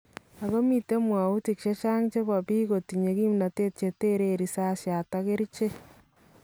Ako miten mwawutik chechang chebo biik kotinye kimnatet chetereen risasyat ak kericheek